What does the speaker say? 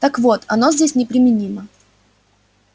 так вот оно здесь неприменимо